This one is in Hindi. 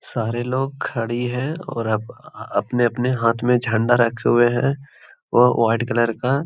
सारे लोग खड़ी है और अपने-अपने हाथ में झंडा रखे हुए है ओ वाइट कलर का।